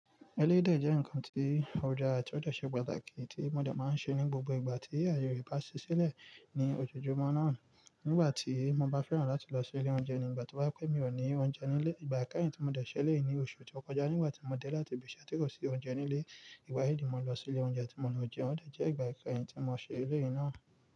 Eléyi dẹ́ je ǹkan tí ọdaà ti ọ dè ṣe pàtàkì tí mo dè máa ń ṣe ní gbogbo ìgbà tí aye re bá ṣi sílẹ̀ ní ojoojúmọ́ náà. Nígbà tí mo bá fẹ́ran láti lọ sí ilé oúnjẹ ní ìgbà to ba je pẹ mí ò ní oúnjẹ nílé, ìgbà ikeyìn tí mo dè ṣẹ́lẹ̀ yìí ní oṣù tó kọjá nígbà tí mo dé láti ibi iṣẹ́ tó kò sí oúnjẹ nílé. Ìgbà yìí ni mo lọ sí ilé oúnjẹ tí mo lọ jẹun o dè jẹ́ ìgbà ikeyìn tí mo ṣe eleyìí náà.